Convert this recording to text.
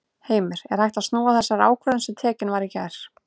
Heimir: Er hægt að snúa þessari ákvörðun sem tekin var í gær?